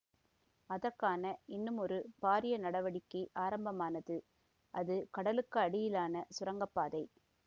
அதற்கான இன்னுமொரு பாரிய நடவடிக்கை ஆரம்பமானது அது கடலுக்கு அடியிலான சுரங்க பாதை